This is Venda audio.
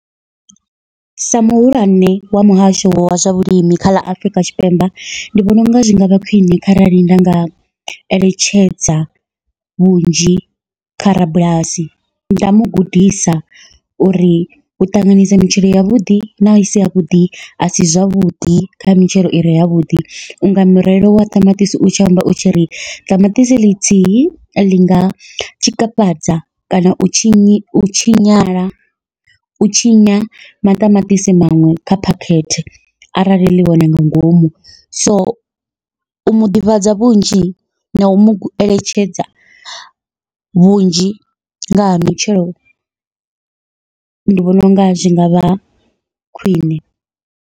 Sa muhulwane wa muhasho wa zwa vhulimi kha ḽa Afrika Tshipembe, ndi vhona unga zwi ngavha khwiṋe kharali nda nga eletshedza vhunzhi kha rabulasi nda mugudisa uri u ṱanganyisa mitshelo yavhuḓi na isi yavhuḓi asi zwavhuḓi kha mitshelo ire yavhuḓi, unga mirero wa ṱamaṱisi u tshi amba u tshi ri ṱamaṱisi ḽithihi ḽinga tshikafhadza kana u tshinyi u tshinyala u tshinya maṱamaṱisi maṅwe kha phakhethe arali ḽihone nga ngomu, so u muḓivhadza vhunzhi nau mueletshedza vhunzhi nga ha mitshelo ndi vhona unga zwi ngavha khwiṋe.